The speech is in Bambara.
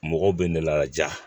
Mɔgɔw bɛ ne laja